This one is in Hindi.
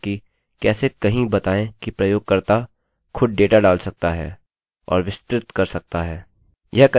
अगली चीज़ हम सीखेंगे कि कैसे कहीं बताएँ कि प्रयोगकर्तायूजरखुद डेटा डाल सकता है और विस्तृत कर सकता है